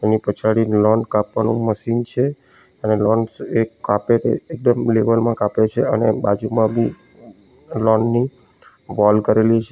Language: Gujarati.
એની પછાડી લોન કાપવાનું મશીન છે અને લોન્સ એ કાપે તે એકદમ લેવલ માં કાપે છે અને બાજુમાં બી લોન ની વૉલ કરેલી છે.